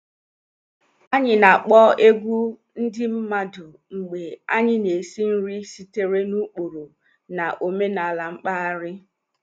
Anyị na-akpọ egwu ndị mmadụ mgbe anyị na-esi nri sitere n'ụkpụrụ na omenala mpaghara